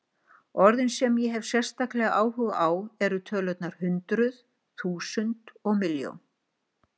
Orðin sem ég hef sérstaklega áhuga á eru tölurnar hundruð, þúsund, og milljón.